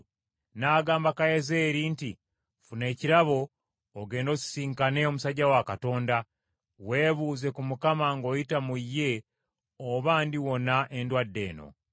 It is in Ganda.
n’agamba Kazayeeri nti, “Ffuna ekirabo, ogende osisinkane omusajja wa Katonda, weebuuze ku Mukama ng’oyita mu ye oba, ndiwona endwadde eno.”